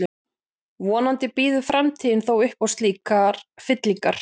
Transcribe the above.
Vonandi býður framtíðin þó upp á slíkar fyllingar.